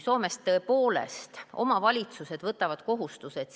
Soomes tõepoolest omavalitsused võtavad kohustused.